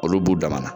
Olu b'u damana